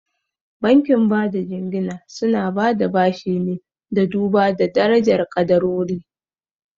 Bankin bada jingina suna bada bashi ne da duba darajar ƙadarori.